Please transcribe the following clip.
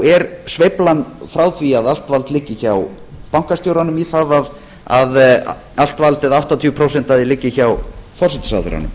er sveiflan frá því að allt vald liggi hjá bankastjóranum í það að allt valdið áttatíu prósent af því liggi hjá forsætisráðherranum